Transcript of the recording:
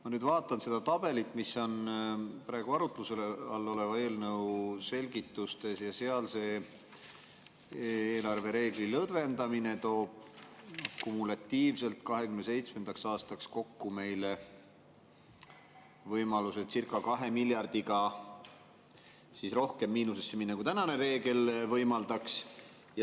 Ma nüüd vaatan seda tabelit, mis on praegu arutluse all oleva eelnõu selgitustes, ja seal see eelarvereegli lõdvendamine toob kumulatiivselt 2027. aastaks kokku meile võimaluse circa 2 miljardiga rohkem miinusesse minna, kui tänane reegel võimaldaks.